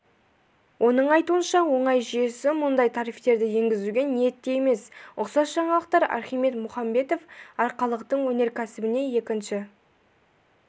оның айтуынша оңай жүйесі мұндай тарифтерді енгізуге ниетті емес ұқсас жаңалықтар архимед мұхамбетов арқалықтың өнеркәсібіне екінші